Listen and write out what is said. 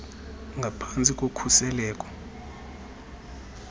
ngaphan tsi kokhuseleko